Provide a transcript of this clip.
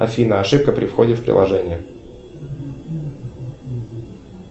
афина ошибка при входе в приложение